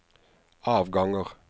avganger